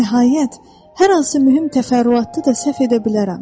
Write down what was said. Nəhayət, hər hansı mühüm təfərrüatda da səhv edə bilərəm.